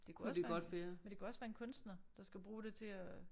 Det kunne også være men det kunne også være en kunstner der skal bruge det til at